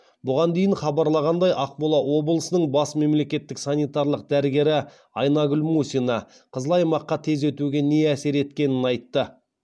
бұған дейін хабарланғандай ақмола облысының бас мемлекеттік санитарлық дәрігері айнагүл мусина қызыл аймаққа тез өтуге не әсер еткенін айтты